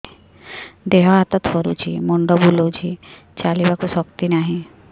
ଦେହ ହାତ ଥରୁଛି ମୁଣ୍ଡ ବୁଲଉଛି ଚାଲିବାକୁ ଶକ୍ତି ନାହିଁ